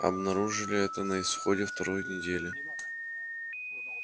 обнаружили это на исходе второй недели